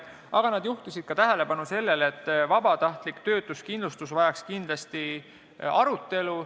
Aga nad juhtisid tähelepanu ka sellele, et vabatahtlik töötuskindlustus vajaks kindlasti arutelu.